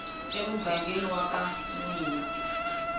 emugangeni wa ka n wina